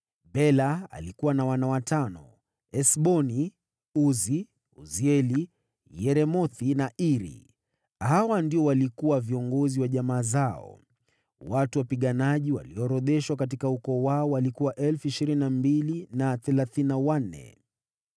Wana wa Bela walikuwa: Esboni, Uzi, Uzieli, Yeremothi na Iri; walikuwa viongozi wa jamaa zao; wote ni watano. Watu wapiganaji walioorodheshwa katika ukoo wao walikuwa 22,034.